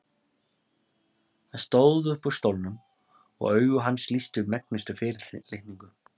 Hann stóð hægt upp úr stólnum og augu hans lýstu megnustu fyrirlitningu.